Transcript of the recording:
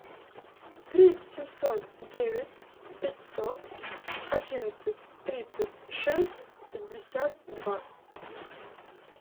три семьсот девять пятьсот одиннадцать тридцать шесть пятьдесят два